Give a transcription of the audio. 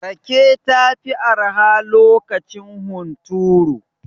Rake ta fi arha lokacin hunturu.